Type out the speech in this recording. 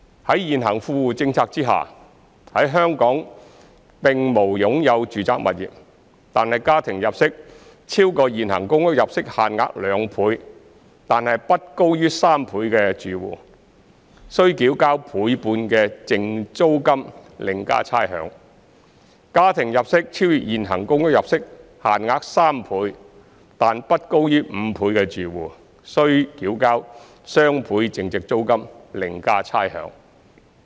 在現行富戶政策下，在香港並無擁有住宅物業，但家庭入息超過現行公屋入息限額2倍但不高於3倍的住戶，須繳交倍半淨租金另加差餉；家庭入息超越現行公屋入息限額3倍但不高於5倍的住戶，則須繳交雙倍淨租金另加差餉。